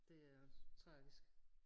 Det er også tragisk